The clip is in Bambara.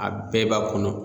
A bɛɛ b'a kɔnɔ